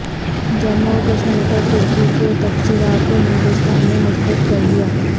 جموں و کشمیر پرترکی کے تبصرہ کو ہندوستان نے مسترد کردیا